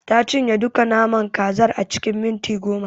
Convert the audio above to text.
Ta cinye duka naman kazar a cikin minti goma.